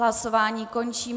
Hlasování končím.